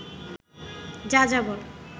যাযাবর